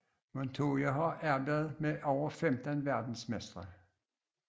Montoya har arbejdet med over 15 verdensmestre